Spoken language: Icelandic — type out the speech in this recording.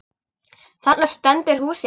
Þarna stendur húsið.